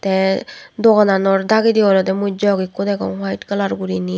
tey dogananor dagedi olodey mui jog ekko degong white colour guriney.